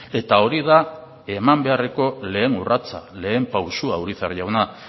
eta hori da eman beharreko lehen urratsa lehen pausua urizar jauna